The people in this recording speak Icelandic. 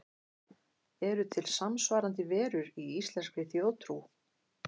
Eru til samsvarandi verur í íslenskri þjóðtrú?